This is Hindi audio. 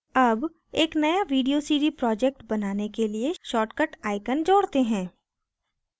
add एक नया video cd project बनाने के लिए शार्ट कट icon जोड़ते हैं